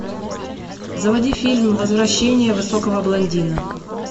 заводи фильм возвращение высокого блондина